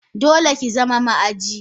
Dole kizama ma aji!